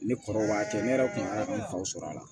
Ne kɔrɔw b'a kɛ ne yɛrɛ kun kan ka nafaw sɔrɔ a la